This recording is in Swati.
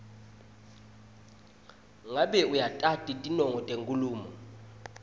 ngabe uyatati tinongo tenkhulumo